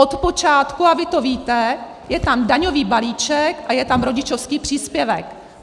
Od počátku, a vy to víte, je tam daňový balíček a je tam rodičovský příspěvek.